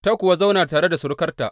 Ta kuwa zauna tare da surukarta.